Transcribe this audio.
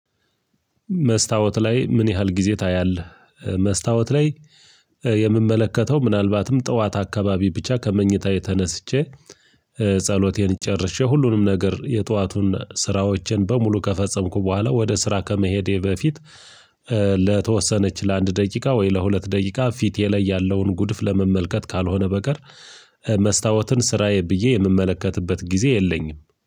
መስታወት ላይ ምን ያህል ጊዜ ታያለህ? መስታወት ላይ የምመለከተው ምናልባትም ጠዋት አካባቢ ብቻ ከመኝታዬ ተነስቼ ጸሎቴን ጨርሼ ሁሉንም ነገር የጠዋቱን ስራዎችን በሙሉ ከፈጸምኩ በኋላ ወደ ስራ ከመሄዴ በፊት ለተወሰነች ለአንድ ደቂቃ ወይ ለሁለት ደቂቃ ፊቴ ላይ ያለውን ጉድፍ ለመመልከት ካልሆነ በቀር መስታወትን ስራዬ ብዬ የምመለከትበት ጊዜ የለኝም